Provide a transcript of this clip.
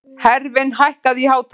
Hervin, hækkaðu í hátalaranum.